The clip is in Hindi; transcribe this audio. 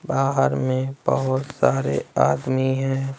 बाहर में बहुत सारे आदमी हैं।